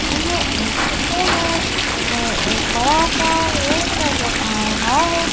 यह एक चित्र है चित्र में एक बड़ा सा रूम नज़र आ रहा है।